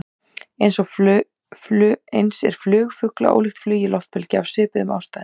Eins er flug fugla ólíkt flugi loftbelgja, af svipuðum ástæðum.